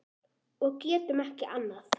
Og getum ekki annað.